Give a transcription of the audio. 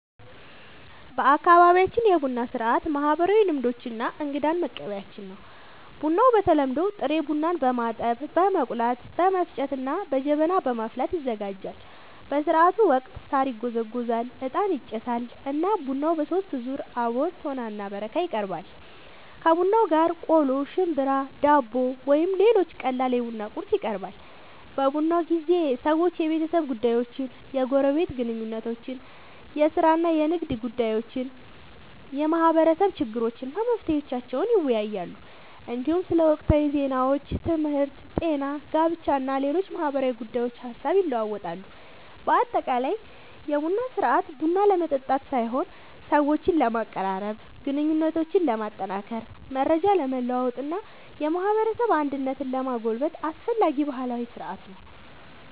በአካባቢያችን የቡና ሥርዓት ማህበራዊ ልምዶች እና እንግዳን መቀበያችን ነው። ቡናው በተለምዶ ጥሬ ቡናን በማጠብ፣ በመቆላት፣ በመፍጨት እና በጀበና በማፍላት ይዘጋጃል። በሥርዓቱ ወቅት ሣር ይጎዘጎዛል፣ ዕጣን ይጨሳል እና ቡናው በሦስት ዙር (አቦል፣ ቶና እና በረካ) ይቀርባል። ከቡናው ጋር ቆሎ፣ ሽምብራ፣ ዳቦ ወይም ሌሎች ቀላል የቡና ቁርስ ይቀርባል። በቡና ጊዜ ሰዎች የቤተሰብ ጉዳዮችን፣ የጎረቤት ግንኙነቶችን፣ የሥራ እና የንግድ ጉዳዮችን፣ የማህበረሰብ ችግሮችን እና መፍትሄዎቻቸውን ይወያያሉ። እንዲሁም ስለ ወቅታዊ ዜናዎች፣ ትምህርት፣ ጤና፣ ጋብቻ እና ሌሎች ማህበራዊ ጉዳዮች ሐሳብ ይለዋወጣሉ። በአጠቃላይ የቡና ሥርዓት ቡና ለመጠጣት ሳይሆን ሰዎችን ለማቀራረብ፣ ግንኙነትን ለማጠናከር፣ መረጃ ለመለዋወጥ እና የማህበረሰብ አንድነትን ለማጎልበት አስፈላጊ ባህላዊ ሥርዓት ነው።